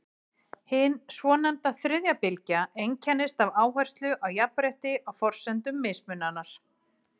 hin svonefnda „þriðja bylgja“ einkennist af áherslu á jafnrétti á forsendum mismunar